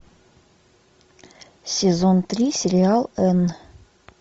сезон три сериал энн